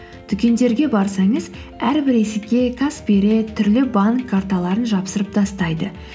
дүкендерге барсаңыз әрбір есікке каспи ред түрлі банк карталарын жабыстырып тастайды